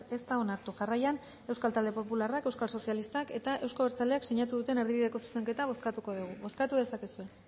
ez da onartu jarraian euskal talde popularrak euskal sozialistak eta euzko abertzaleak sinatu duten erdibideko zuzenketa bozkatuko dugu bozkatu dezakezue